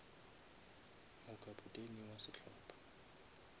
mo kapteni wa sehlopa